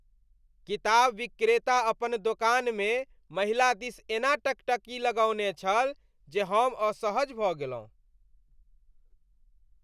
किताब विक्रेता अपन दोकानमे महिला दिस एना टकटकी लगौने छल, जे हम असहज भऽ गेलहुँ।